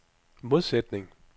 modsætning